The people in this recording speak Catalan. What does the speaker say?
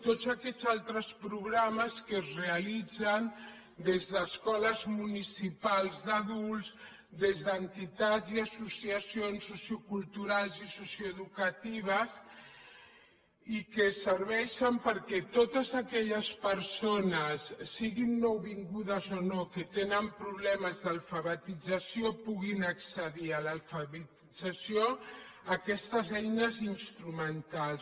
tots aquests altres programes que es realitzen des d’escoles municipals d’adults des d’entitats i associacions socioculturals i socioeducatives i que serveixen perquè totes aquelles persones siguin nouvingudes o no que tenen problemes d’alfabetització puguin accedir a l’alfabetització a aquestes eines instrumentals